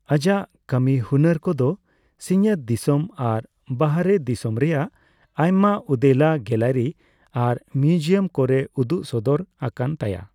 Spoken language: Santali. ᱟᱡᱟᱜ ᱠᱟ.ᱢᱤ ᱦᱩᱱᱟ.ᱨ ᱠᱚᱫᱚ ᱥᱤᱧᱚᱛ ᱫᱤᱥᱚᱢ ᱟᱨ ᱵᱟᱦᱨᱮ ᱫᱤᱥᱚᱢ ᱨᱮᱭᱟᱜ ᱟᱭᱢᱟ ᱩᱫᱮᱞᱟ ᱜᱮᱞᱟᱨᱤ ᱟᱨ ᱢᱤᱭᱩᱡᱤᱭᱟᱢ ᱠᱚᱨᱮ ᱩᱫᱩᱜ ᱥᱚᱫᱚᱨ ᱟᱠᱟᱱ ᱛᱟᱭᱟ ᱾